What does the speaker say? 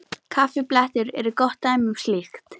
Kaffiblettir eru gott dæmi um slíkt.